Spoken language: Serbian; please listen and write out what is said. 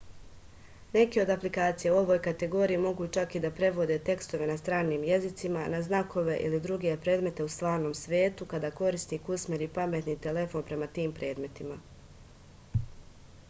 neke od aplikacija u ovoj kategoriji mogu čak i da prevode tekstove na stranim jezicima na znakove ili druge predmete u stvarnom svetu kada korisnik usmeri pametni telefon prema tim predmetima